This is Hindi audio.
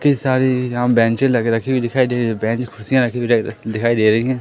कितनी सारी यहां पर बेंचे लगी रखी हुई दिखाई दे रही है बेंच कुर्सियां लगी रखी हुई दिखाई दे रही हैं।